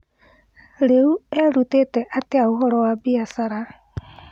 Rĩu erũtĩte atĩa ũhoro wa biacara?